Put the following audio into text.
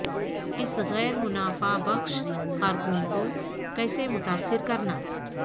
اس غیر منافع بخش کارکن کو کیسے متاثر کرنا